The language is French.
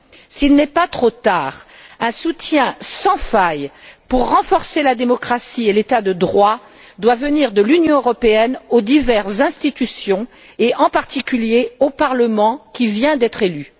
S'il n'est pas trop tard, un soutien sans faille, pour renforcer la démocratie et l'état de droit, doit venir de l'Union européenne aux diverses institutions et, en particulier, au parlement qui vient d'être élu.